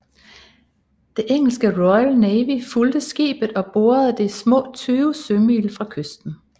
Det engelske Royal Navy fulgte skibet og bordede det små 20 sømil fra kysten